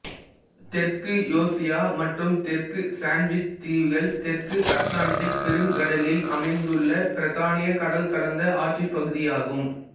தெற்கு யோர்சியா மற்றும் தெற்கு சண்ட்விச் தீவுகள் தெற்கு அட்லாண்டிக் பெருங்கடலிள் அமைந்துள்ள பிரித்தானிய கடல்கடந்த ஆட்சிப்பகுதியாகும்